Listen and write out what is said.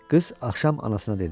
Qız axşam anasına dedi: